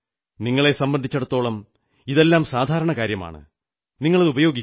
നിങ്ങളെ സംബന്ധിച്ചിടത്തോളം ഇതെല്ലാം സാധാരണ കാര്യമാണ് നിങ്ങളത് ഉപയോഗിക്കുന്നു